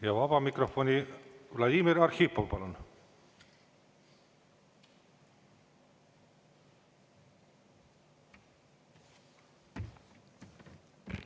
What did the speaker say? Ja vaba mikrofoni, Vladimir Arhipov, palun!